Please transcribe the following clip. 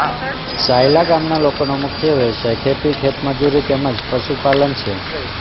સાયલા ગામના લોકોનો મુખ્ય વ્યવસાય ખેતી ખેતમજૂરી તેમ જ પશુપાલન છે